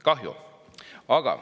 Kahju!